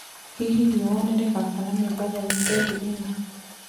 hĩhĩ riua nirigaakana mombatha wĩkendĩ ino